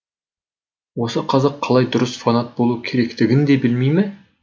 осы қазақ қалай дұрыс фанат болу керектігін де білмей ме